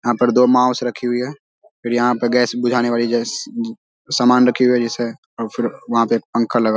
यहाँ पर दो माउस रखी हुई है और यहाँ पर गैस बुझाने वाली जैसे समान रखी हुई है जैसे अव फिर वहाँ पे पंखा लगा --